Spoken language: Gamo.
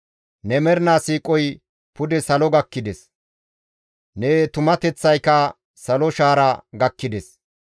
Ne mernaa siiqoy pude salo gakkides; ne tumateththayka salo shaara gakkides.